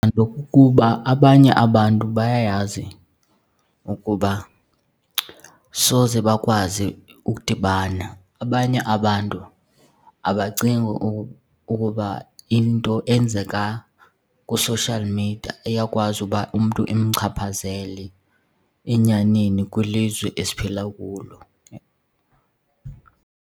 kukuba abanye abantu bayayazi ukuba soze bakwazi ukudibana. Abanye abantu abacingi ukuba into eyenzeka kwi-social media iyakwazi uba umntu imchaphazele enyanini kwilizwe esiphila kulo.